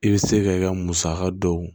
I bɛ se ka i ka musaka dɔw